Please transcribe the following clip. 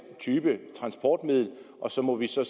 type transportmiddel og så må vi så